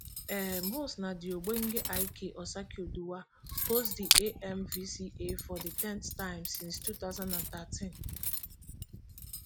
um host na di ogbonge ik osakioduwa host di amvca for di ten th time since two thousand and thirteen